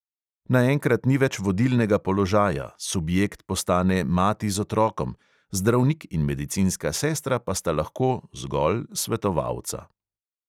Naenkrat ni več vodilnega položaja, subjekt postane mati z otrokom, zdravnik in medicinska sestra pa sta lahko svetovalca.